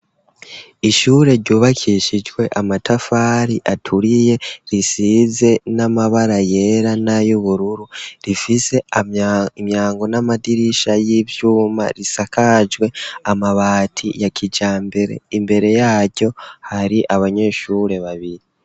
Ishure ryubakishijwe amatafari aturiye risize n'amabara yera nayubururu rifise imyango n'amadirisha y'ivyuma risakajwe amabati ya kijambere, imbere yaryo hari abanyeshure babiri.